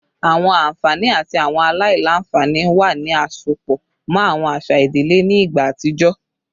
Awọn anfani ati awọn alailanfani wo ni a sopọ mọ awọn aṣa idile ni igba atijọ?